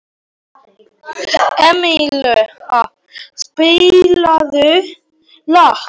Emanúela, spilaðu lag.